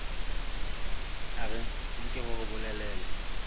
a re nke hore bolelele